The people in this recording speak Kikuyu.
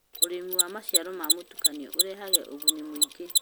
ũrĩmi wa maciaro mũtukanio ũrehaga ũguni mũingĩ.